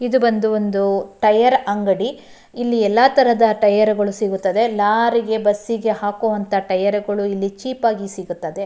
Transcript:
ಇದು ಬಂದು ಟೈರ್ ಅಂಗಡಿ ಇಲ್ಲಿ ಎಲ್ಲ ತರಹದ ಟೈರ್ಗ ಳು ಸಿಗುತ್ತದೆ ಲಾರಿ ಗೆ ಬಸ್ಸಿ ಗೆ ಹಾಕುವಂತ ಟೈರ್ಗ ಳು ಇಲ್ಲಿ ಚೀಪ್ ಆಗಿ ಸಿಗುತ್ತದೆ.